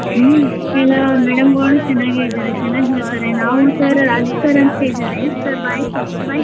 ಹ್ಮ್ ಕೆಲವು madam ಗಳು ಚನಾಗೆ ಇದಾರೇ ಚನಾಗ್ ಇರ್ತಾರೆ ನಾವು sir ಅಂತ್ ಹೇಳಿದಾರೆ sir bye sir .